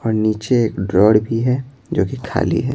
और नीचे एक ड्रॉर भी है जो कि खाली है।